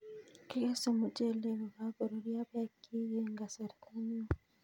Kigese muchelek kokakorurio peek chik eng kasarta neo